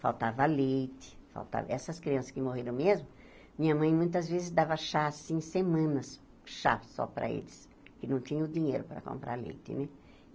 Faltava leite, faltava... Essas crianças que morreram mesmo, minha mãe, muitas vezes, dava chá, assim, semanas, chá só para eles, que não tinha dinheiro para comprar leite, né?